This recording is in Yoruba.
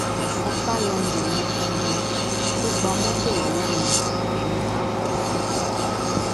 ọsápá london yẹn gangan tó gba mọtò lọwọ mi dé ni mà á kọ ọ sí